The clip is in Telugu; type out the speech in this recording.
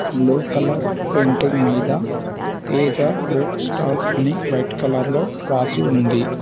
బ్లూ కలర్ పెయింటింగ్ మీద తేజ బుక్ స్టాల్ అని వైట్ కాలర్ లో రాసి ఉంది.